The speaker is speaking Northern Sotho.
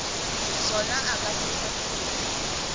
sona o ka se hlatholla